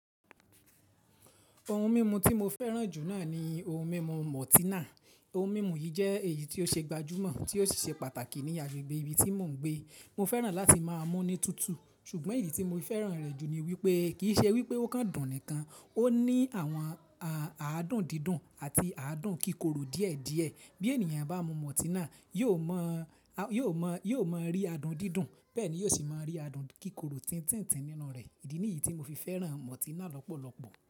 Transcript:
Ohun mímu tí mo fẹ́ràn jù náà ni ohun mímu mọ́tínà. Ohun mímu yìí jẹ́ èyí tí ó ṣe gbajúmọ̀ tí ó sì ṣe pàtàkì ní agbègbè ibi tí mò ń gbé. Mo fẹ́ràn láti má a mú ní tútù, ṣùgbọ́n èyí tí mo fẹ́ràn rẹ̀ jù ni wípé kì í ṣe wípé ó kan dùn nìkan, ó ní àwọn aádùn dídùn àti aádùn kíkorò díẹ̀ díẹ̀. Bí ènìyàn bá mu mọ́tínà, yóò mọ, a yóò mọ, yóò mọ rí adùn dídùn, bẹ́ẹ̀ ni yóò sì máa rí adùn kíkorò tìntìntin nínú rẹ̀. Ìdí nìyí tí mo fi fẹ́ràn mọ́tínà lọ́pọ̀lọpọ̀.